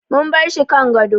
Mun barshi kan gado